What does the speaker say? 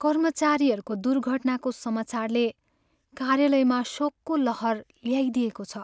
कर्मचारीको दुर्घटनाको समाचारले कार्यालयमा शोकको लहर ल्याइदिएको छ।